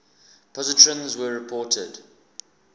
positrons were reported